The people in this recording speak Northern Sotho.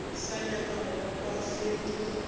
sa nyaka go kwa selo